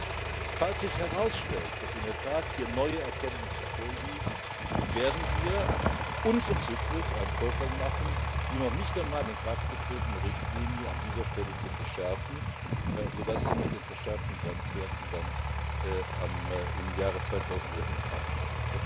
Und falls sich herausstellt, dass hier in der Tat neue Erkenntnisse vorliegen, werden wir unverzüglich einen Vorschlag machen, die noch nicht einmal in Kraft getretene Richtlinie an dieser Stelle zu verschärfen, sodass sie mit den verschärften Grenzwerten dann im Jahre 2011 in Kraft tritt.